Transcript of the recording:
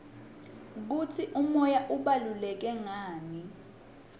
kutsi umoya ubaluleke ngani